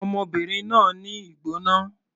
Ọmọbìnrin náà ní ìgbóná.